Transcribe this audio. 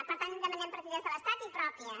per tant demanem partides de l’estat i pròpies